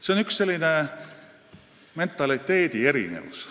See on n-ö mentaliteedi erinevus.